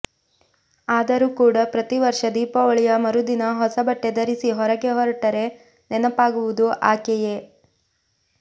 ಆದರೂ ಕೂಡ ಪ್ರತಿ ವರ್ಷ ದೀಪಾವಳಿಯ ಮರುದಿನ ಹೊಸ ಬಟ್ಟೆ ಧರಿಸಿ ಹೊರಗೆ ಹೊರಟರೆ ನೆನಪಾಗುವುದು ಆಕೆಯೇ